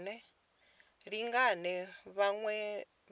lingane na vhaṅwe vhadzulapo u